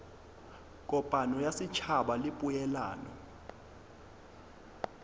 kopano ya setšhaba le poelano